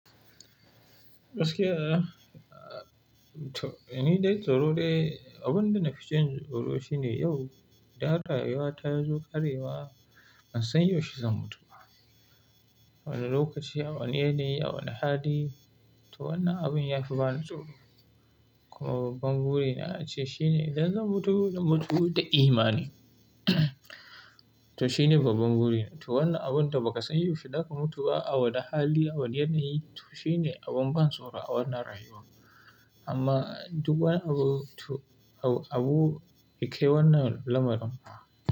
Gaskiya, to ni dai tsoro dai, abun da na fi jin tsoro shine yau da rayuwa ta zo ƙarewa ban san yaushe zan mutu ba. A wane lokaci, a wane yanayi, a wane hali. To wannan abun ya fi bani tsoro. Kuma babban burina ace shine idan zan mutu, na mutu da imani. To shine babban burina. To wannan abun da ba ka san yaushe za ka mutu ba, a waɗanne hali, a wane yanayi, to shine abin ban tsoro a wannan rayuwa. Amma duk wani abu, to abu, abun kai wannan lamarin.